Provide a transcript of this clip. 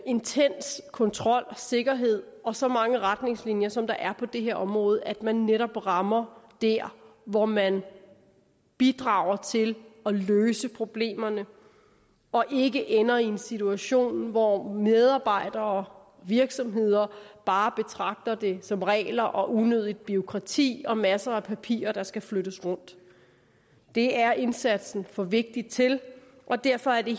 intens kontrol og sikkerhed og så mange retningslinjer som der er på det her område at man netop rammer der hvor man bidrager til at løse problemerne og ikke ender i en situation hvor medarbejdere og virksomheder bare betragter det som regler og unødigt bureaukrati og masser af papirer der skal flyttes rundt det er indsatsen for vigtig til og derfor er det